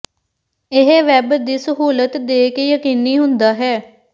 ਇਹ ਵੈੱਬ ਦੀ ਸਹੂਲਤ ਦੇ ਕੇ ਯਕੀਨੀ ਹੁੰਦਾ ਹੈ